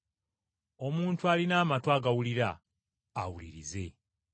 (Omuntu alina amatu agawulira awulirize.)”